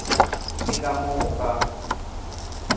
le ka mo go ka